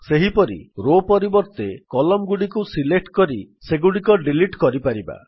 ସେହିପରି ରୋ ପରିବର୍ତ୍ତେ କଲମ୍ନ ଗୁଡ଼ିକୁ ସିଲେକ୍ଟ୍ କରି ସେଗୁଡିକ ଡିଲିଟ୍ କରିପାରିବା